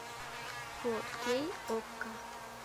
фо кей окко